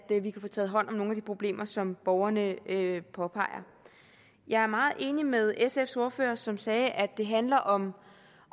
at vi kan få taget hånd om nogle af de problemer som borgerne påpeger jeg er meget enig med sfs ordfører som sagde at det handler om